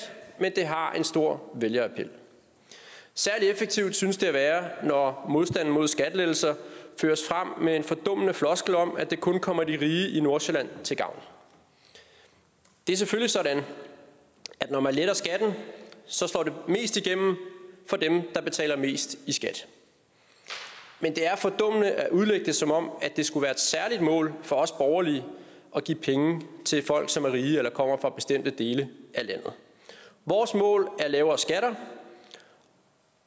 men det har en stor vælgerappel særlig effektivt synes det at være når modstanden mod skattelettelser føres frem med en fordummede floskel om at det kun kommer de rige i nordsjælland til gavn det er selvfølgelig sådan at når man letter skatten slår det mest igennem for dem der betaler mest i skat men det er fordummende at udlægge det som om det skulle være et særligt mål for os borgerlige at give penge til folk som er rige eller kommer fra bestemte dele af landet vores mål er lavere skatter